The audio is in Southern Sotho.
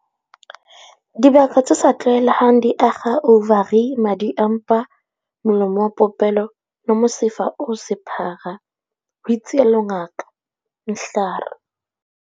Dibaka tse sa tlwaelehang di akga ouvari, madi a mpa, molomo wa popelo le mosifa o sephara, ho itsalo Ngaka Mehlar.